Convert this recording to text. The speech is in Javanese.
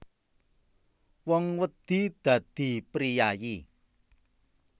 Wong wedi dadi priyayi